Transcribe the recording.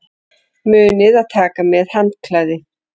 Munið að taka með handklæði!